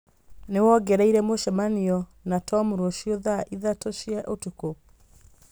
nĩ wongereire mũcemanio na Tom rũciũ thaa ithatũ cia ũtukũ